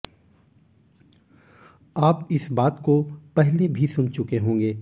आप इस बात को पहले भी सुन चुके होंगे